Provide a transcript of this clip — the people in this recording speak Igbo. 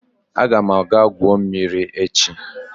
Aga m aga gwuo mmiri echi